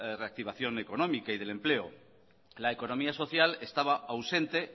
reactivación económica y del empleo la economía social estaba ausente